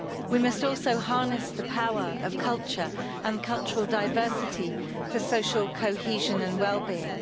We must also harness the power of culture and cultural diversity for social cohesion and wellbeing.